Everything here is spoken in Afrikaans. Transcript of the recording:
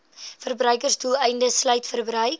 verbruiksdoeleindes sluit verbruik